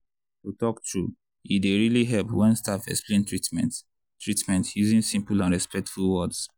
to talk true e dey really help when staff explain treatment treatment using simple and respectful words.